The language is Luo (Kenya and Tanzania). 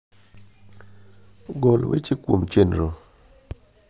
gol weche kuom chenro